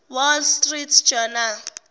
wall street journal